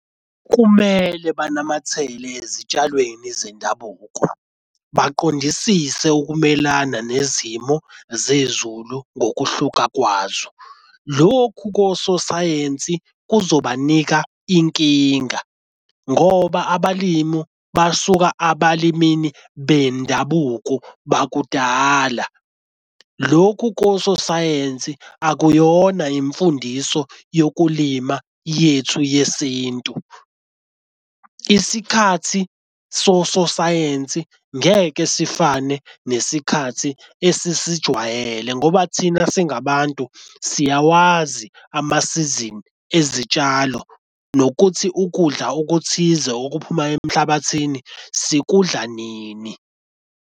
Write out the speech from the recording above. Kumele banamathele ezitshalweni zendabuko baqondisise ukumelana nezimo zezulu ngokuhluka kwazo. Lokhu kososayensi kuzobanika inkinga ngoba abalimu basuka abalimini bendabuko bakudala. Lokhu kososayensi akuyona imfundiso yokulima yethu yesintu. Isikhathi sosayensi ngeke sifane nesikhathi esisijwayele ngoba thina singabantu siyawazi amasizini ezitshalo nokuthi ukudla okuthize okuphuma emhlabathini sikudla nini.